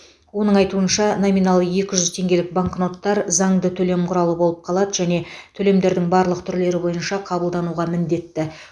оның айтуынша номиналы екі жүз теңгелік банкноттар заңды төлем құралы болып қалады және төлемдердің барлық түрлері бойынша қабылдануға міндетті